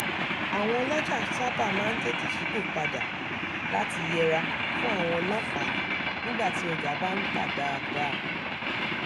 àwọn ọlọjà sábà máa ń tètè ṣipòpada láti yẹra fún àwọn ọlọ́pàá nígbà tí ọjà bá ń tà dáadáa